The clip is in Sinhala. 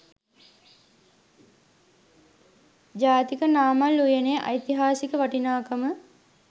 ජාතික නාමල් උයනේ ඓතිහාසික වටිනාකම